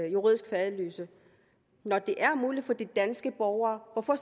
juridisk faderløse når det er muligt for de danske borgere hvorfor